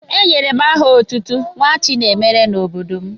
Enyere m aha otutu Nwachinemere n'obodo m.